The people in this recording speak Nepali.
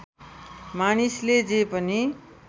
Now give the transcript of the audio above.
मानिसले जे पनि